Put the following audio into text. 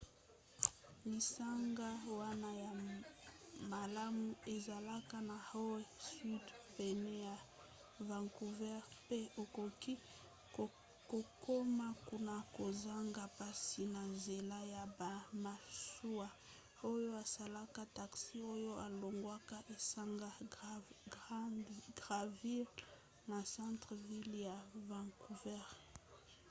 lisanga wana ya malamu ezalaka na howe sound pene ya vancouver pe okoki kokoma kuna kozanga mpasi na nzela ya bamasuwa oyo esalaka taxi oyo elongwaka esanga granville na centre-ville ya vancouver